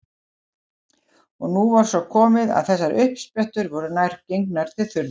En nú var svo komið að þessar uppsprettur voru nær gengnar til þurrðar.